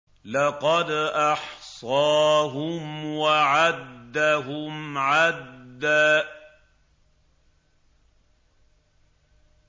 لَّقَدْ أَحْصَاهُمْ وَعَدَّهُمْ عَدًّا